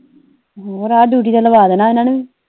ਹੋਰ ਆ ਡਿਊਟੀ ਤੇ ਲਵਾ ਦੇਣਾ ਇਹਨਾਂ ਨੂੰ ਵੀ